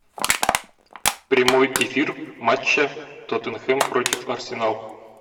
прямой эфир матча тоттенхэм против арсенал